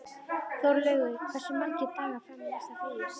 Þórlaugur, hversu margir dagar fram að næsta fríi?